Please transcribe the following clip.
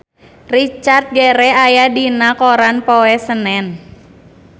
Richard Gere aya dina koran poe Senen